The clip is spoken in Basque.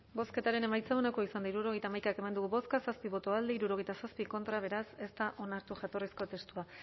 bozketaren emaitza onako izan da hirurogeita hamaika eman dugu bozka zazpi boto alde sesenta y siete contra beraz ez da onartu jatorrizko testua